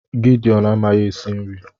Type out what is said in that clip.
Gideon amaghị esi nri